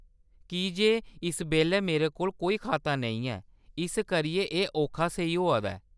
की जे इस बेल्लै मेरे कोल कोई खाता नेईं ऐ, इस करियै एह्‌‌ औखा सेही होआ दा ऐ।